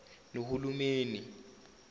nohulumeni